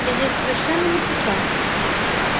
я здесь совершенно ни при чем